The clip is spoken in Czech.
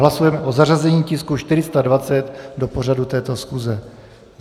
Hlasujeme o zařazení tisku 420 do pořadu této schůze.